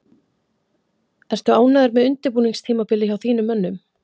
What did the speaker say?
Ertu ánægður með undirbúningstímabilið hjá þínum mönnum?